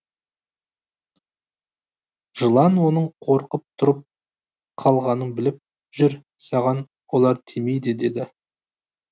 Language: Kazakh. жылан оның қорқып тұрып қалғанын біліп жүр саған олар тимейді деді